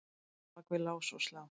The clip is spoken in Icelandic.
á bak við lás og slá.